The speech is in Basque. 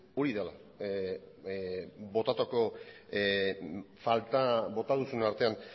hori dela faltan botatakoa bota duzunaren artean